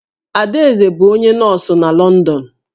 Adaeze bụ onye nọọsụ n'Lọndọn